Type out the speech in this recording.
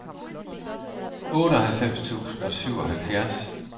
otteoghalvfems tusind og syvoghalvfjerds